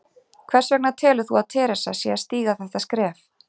Hvers vegna telur þú að Theresa sé að stíga þetta skref?